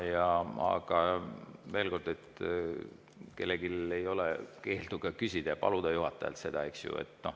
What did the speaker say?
Aga veel kord: kellelgi ei ole keeldu paluda juhatajalt seda, eks ju.